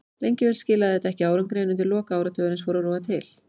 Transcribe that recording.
Lengi vel skilaði þetta ekki árangri en undir lok áratugarins fór að rofa til.